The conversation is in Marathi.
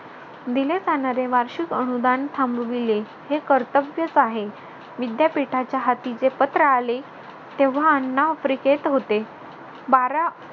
दिले जाणारे वार्षिक अनुदान थांबविले. हे कर्तव्यच आहे. विद्यापीठाच्या हाती जे पत्र आले तेव्हा अण्णा आफ्रिकेत होते. बारा